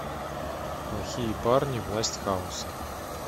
плохие парни власть хаоса